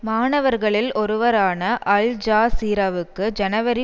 மாணவர்களில் ஒருவரான அல்ஜசீராவுக்கு ஜனவரி